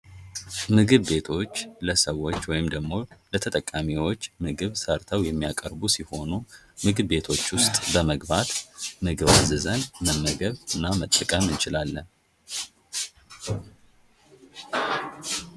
ምግብ ቤቶች ለሰዎች ወይም ደሞ ለተጠቃሚዎች ምግብ ሰርተው የሚያቀርቡ ሲሆኑ ምግብ ቤቶች ዉስጥ በመግባት ምግብ አዝዘን መመገብ እና መጠቀም እንችላለን::